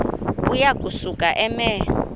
uya kusuka eme